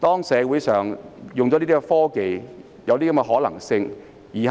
上述這兩種說法，也有可能成事。